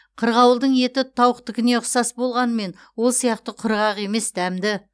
қырғауылдың еті тауықтыкіне ұқсас болғанымен ол сияқты құрғақ емес дәмді